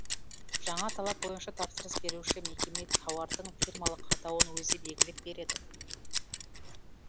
жаңа талап бойынша тапсырыс беруші мекеме тауардың фирмалық атауын өзі белгілеп береді